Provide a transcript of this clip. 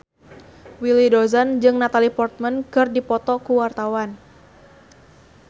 Willy Dozan jeung Natalie Portman keur dipoto ku wartawan